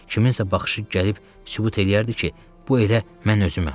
Kiminsə baxışı gəlib sübut eləyərdi ki, bu elə mən özüməm.